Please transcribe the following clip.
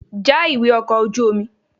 Já ìwé ọkọ̀ ojú omi!